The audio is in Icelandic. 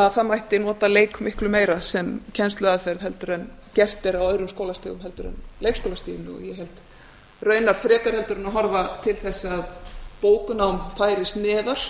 að það mætti nota leik miklu meira sem kennsluaðferð heldur en gert er á öðrum skólastigum en leikskólastiginu og raunar frekar heldur en að horfa til þess að bóknám færist neðar